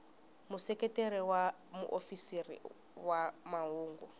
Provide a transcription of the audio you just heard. museketeri wa muofisiri wa mahungu